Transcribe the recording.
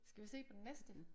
Skal vi se den næste?